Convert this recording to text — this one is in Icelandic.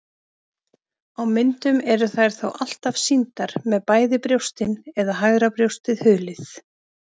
Á myndum eru þær þó alltaf sýndar með bæði brjóstin eða hægra brjóstið hulið.